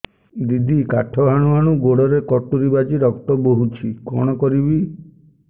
ଦିଦି କାଠ ହାଣୁ ହାଣୁ ଗୋଡରେ କଟୁରୀ ବାଜି ରକ୍ତ ବୋହୁଛି କଣ କରିବି